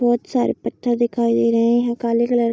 बहुत सारे पत्थर दिखाई दे रहे हैं काले कलर --